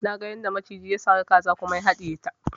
Naga yadda maciji ya sari kaza kuma ya haɗiye ta